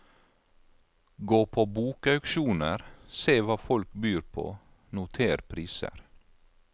Gå på bokauksjoner, se hva folk byr på, noter priser.